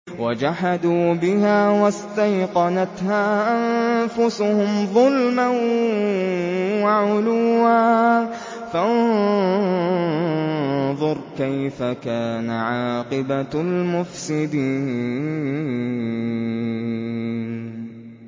وَجَحَدُوا بِهَا وَاسْتَيْقَنَتْهَا أَنفُسُهُمْ ظُلْمًا وَعُلُوًّا ۚ فَانظُرْ كَيْفَ كَانَ عَاقِبَةُ الْمُفْسِدِينَ